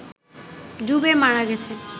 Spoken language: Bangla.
ডুবে মারা গেছে